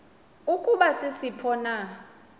ukuba sisiphi na